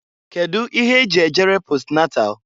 Kedu ihe e ji ejere posnatal?